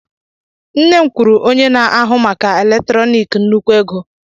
nne m kwụrụ onye na-ahụ maka eletrọnịkị nnukwu ego